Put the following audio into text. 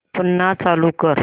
पुन्हा चालू कर